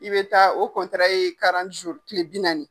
I be taa, o ye kile bi naani.